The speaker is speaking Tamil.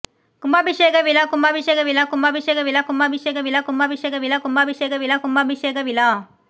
கும்பாபிஷேக விழா கும்பாபிஷேக விழா கும்பாபிஷேக விழா கும்பாபிஷேக விழா கும்பாபிஷேக விழா கும்பாபிஷேக விழா கும்பாபிஷேக விழா